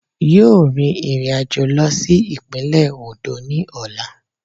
Yóò rin ìrìnàjò lọ sí ìpínlẹ̀ Oǹdó ní ọ̀la